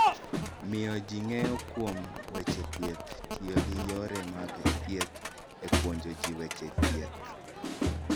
Miyo ji ng'eyo kuom weche thieth: Tiyo gi yore mag thieth e puonjo ji weche thieth.